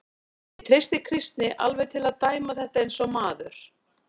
Ég treysti Kristni alveg til að dæma þetta eins og maður.